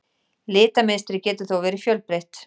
Litamynstrið getur þó verið fjölbreytt.